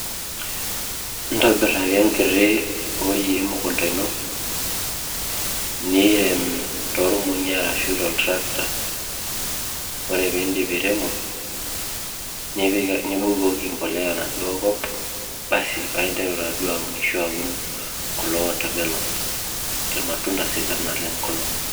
Intobirr ake enkiti wuei emukunda ino niirem tormong'i ashu toltractor ore piidip airemo nibukoki mbolea enaduo kop basi paa interu taaduo aunisho aaun kulo water melons, irmatunda sidan naleng' kulo.